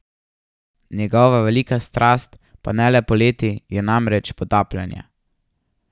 Njegova velika strast, pa ne le poleti, je namreč potapljanje.